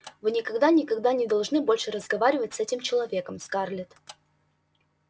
вы никогда никогда не должны больше разговаривать с этим человеком скарлетт